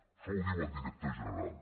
això ho diu el director general